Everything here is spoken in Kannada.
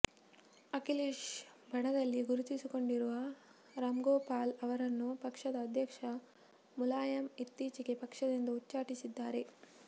ಅಖಿಲೇಶ್ ಬಣದಲ್ಲಿ ಗುರುತಿಸಿಕೊಂಡಿರುವ ರಾಮ್ಗೋಪಾಲ್ ಅವರನ್ನು ಪಕ್ಷದ ಅಧ್ಯಕ್ಷ ಮುಲಾಯಂ ಇತ್ತೀಚೆಗೆ ಪಕ್ಷದಿಂದ ಉಚ್ಚಾಟಿಸಿದ್ದಾರೆ